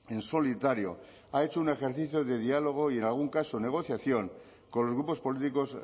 en solitario ha hecho un ejercicio de diálogo y en algún caso negociación con los grupos políticos